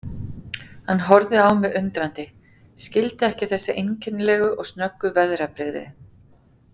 Hann horfði á mig undrandi, skildi ekki þessi einkennilegu og snöggu veðrabrigði.